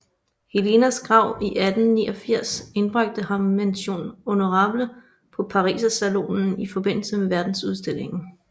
Helenas Grav 1889 indbragte ham Mention honorable på Parisersalonen i forbindelse med Verdensudstillingen